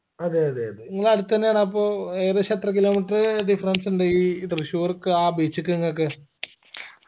അതെയതെ അതെ നിങ്ങളടുത്തെന്നാണപ്പോ ഏകദേശം എത്ര kilometer difference ഇണ്ട് ഈ തൃശൂർക്കാ beach ക്കിങ്ങക്ക്